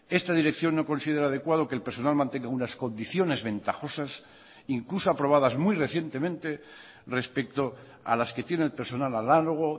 esta dirección no considera adecuado que el personal mantenga unas condiciones ventajosas incluso aprobadas muy recientemente respecto a las que tiene el personal análogo